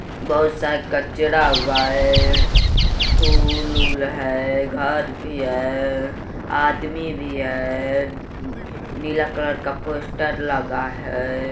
बहुत सारा कचरा हुआ है। फुल उल रहा है घर भी है आदमी भी है नीला कलर का पोस्टर लगा है।